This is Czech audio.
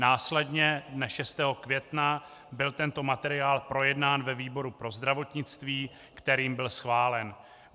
Následně dne 6. května byl tento materiál projednán ve výboru pro zdravotnictví, kterým byl schválen.